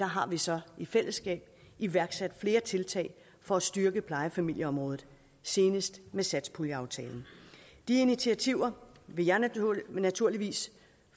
har vi så i fællesskab iværksat flere tiltag for at styrke plejefamilieområdet senest med satspuljeaftalen de initiativer vil jeg naturligvis